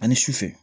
Ani sufɛ